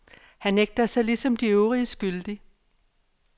Han nægter sig ligesom de øvrige skyldig.